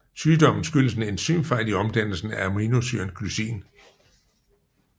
Sygdommen skyldes en enzymfejl i omdannelsen af aminosyren glycin